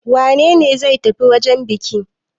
Wane ne zai tafi wajen buki?